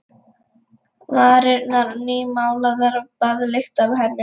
Varirnar nýmálaðar og baðlykt af henni.